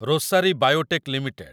Rosari Biotech limited